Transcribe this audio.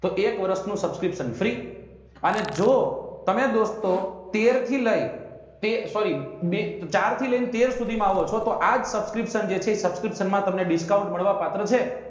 તો એક વર્ષ નું subscription અને જો તમે દોસ્તો તેર થી લઇ sorry બે ચાર થી લઇ તેર સુધી માં આવો છો તો આજ subscription જે છે એ subscription માં તમને discount મળવા પાત્ર છે.